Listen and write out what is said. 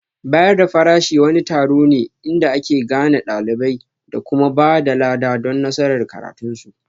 Bayar da farashi wani taron ne inda ake gane ɗalibai da kuma ba da lada don nasarar karatunsu